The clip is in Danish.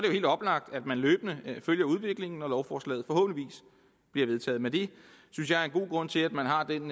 helt oplagt at man løbende følger udviklingen når lovforslaget forhåbentlig bliver vedtaget men det synes jeg er en god grund til at man har den